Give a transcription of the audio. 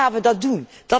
Hoe gaan wij dat doen?